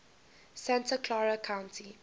santa clara county